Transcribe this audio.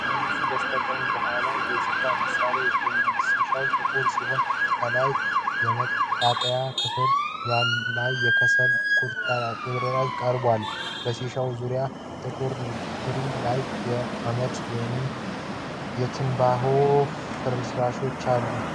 ከጠርሙሱ በስተቀኝና ከኋላ የሺሻ መሣሪያ ይገኛል፤ ሺሻው ጥቁር ሲሆን ከላይ የመቃጠያ ክፍሉ ላይ የከሰል ቁርጥራጮች ተቀምጠዋል። በሺሻው ዙሪያ ጥቁር ትሪ ላይ የአመድ ወይም የትንባሆ ፍርፋሪ አለ።